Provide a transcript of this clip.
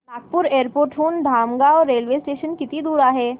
Nagpur airport हून Dhamangaon railway station किती दूर आहे